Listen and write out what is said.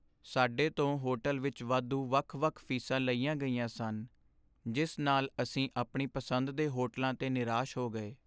ਸਾਡੇ ਤੋਂ ਹੋਟਲ ਵਿੱਚ ਵਾਧੂ ਵੱਖ ਵੱਖ ਫੀਸਾਂ ਲਈਆਂ ਗਈਆਂ ਸਨ, ਜਿਸ ਨਾਲ ਅਸੀਂ ਆਪਣੀ ਪਸੰਦ ਦੇ ਹੋਟਲਾਂ 'ਤੇ ਨਿਰਾਸ਼ ਹੋ ਗਏ